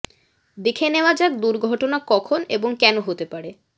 দেখে নেওয়া যাক দুর্ঘটনা কখন এবং কেন হতে পারে